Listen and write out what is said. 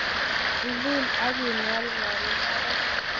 Ilul ak ing'olng'ol mbaret.